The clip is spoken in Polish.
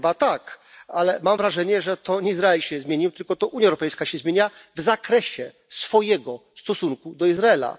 Chyba tak, ale mam wrażenie, że to nie Izrael się zmienił, tylko to Unia Europejska się zmienia w zakresie swojego stosunku do Izraela.